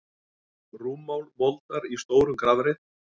Rúmmál moldar í stórum grafreit.